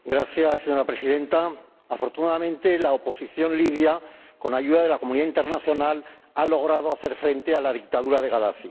Señora Presidenta, afortunadamente la oposición libia, con ayuda de la comunidad internacional, ha logrado hacer frente a la dictadura de Gadafi.